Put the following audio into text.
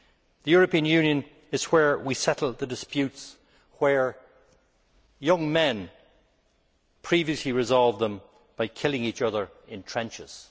The European Union is where we settle the disputes, where young men previously resolved them by killing each other in trenches.